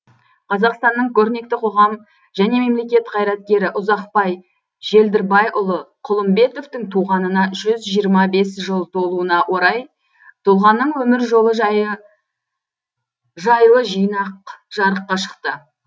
қазақстанның көрнекті қоғам және мемлекет қайраткері ұзақбай желдірбайұлы құлымбетовтің туғанына жүз жирыма бес жыл толуына орай тұлғаның өмір жолы жайлы жинақ жарыққа шықты